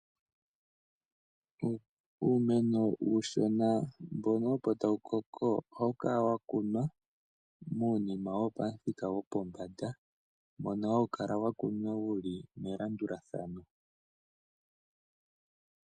Uumeno uushona mbono opo tawu koko ohawu kala wa kunwa muunima wopamuthika gwopombanda mbono hawu kala wa kunwa wu li melandulathano.